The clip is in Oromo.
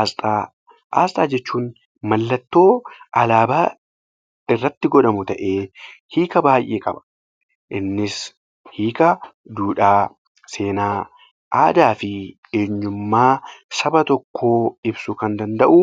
Asxaa:- Asxaa jechuun mallattoo Alaabaa irratti godhamu ta'ee hiika baay'ee qaba innis: hiika duudhaa, seenaa, aadaa fi eenyummaa Saba tokkoo ibsuu kan danda'u,